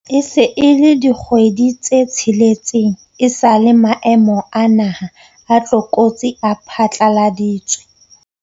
E se e le dikgwedi tse tsheletseng esale maemo a naha a tlokotsi a phatlaladitswe.